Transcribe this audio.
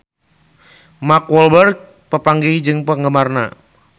Mark Walberg papanggih jeung penggemarna